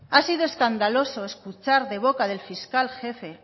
ha sido escandaloso escuchar de boca del fiscal jefe